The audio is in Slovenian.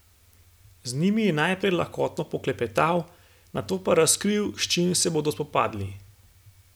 Z njimi je najprej lahkotno poklepetal, nato pa razkril s čim se bodo spopadli.